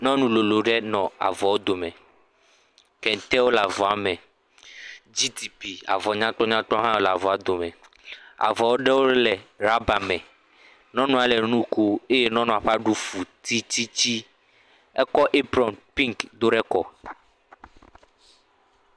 Nyɔnu lolo ɖe le avɔ dome. Kentewo le avɔ me, GTP, avɔ nyakpɔnyakpɔ hã le avɔ dome. Avɔ aɖewo le rɔbame. Nyɔnua le nu kom eye nyɔnua ƒe aɖu fu tititsi. Ekɔ apron pink do ɖe kɔ.